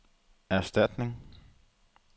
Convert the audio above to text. erstatning